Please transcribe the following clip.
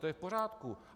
To je v pořádku.